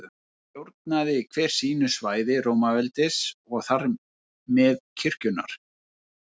Stjórnaði hver sínu svæði Rómaveldis og þar með kirkjunnar.